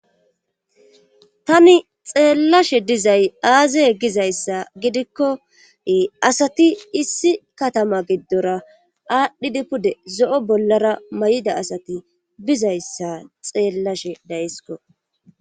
Tani xeellashe dizay aazaye gizayssa gidikko asati issi katama giddora aadhdhidi pude zo7o bollara may7ida asati bizayssa xeellashe daysko.